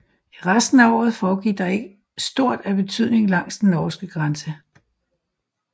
I resten af året foregik der ikke stort af betydning langs den norske grænse